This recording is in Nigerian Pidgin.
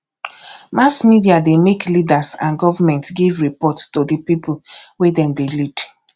mass media de make leaders and government give report to di pipo wey dem de lead